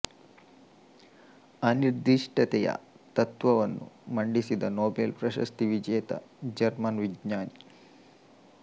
ಅನಿರ್ದಿಷ್ಟತೆಯ ತತ್ತ್ವವನ್ನು ಮಂಡಿಸಿದ ನೊಬೆಲ್ ಪ್ರಶಸ್ತಿ ವಿಜೇತ ಜರ್ಮನ್ ವಿಜ್ಞಾನಿ